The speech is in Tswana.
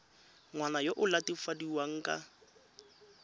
ngwana yo o latofadiwang ka